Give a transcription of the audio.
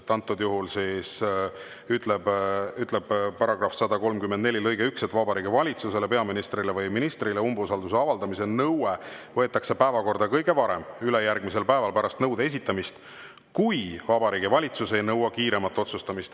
Antud juhul ütleb § 134 lõige 1, et Vabariigi Valitsusele, peaministrile või ministrile umbusalduse avaldamise nõue võetakse päevakorda kõige varem ülejärgmisel päeval pärast nõude esitamist, kui Vabariigi Valitsus ei nõua kiiremat otsustamist.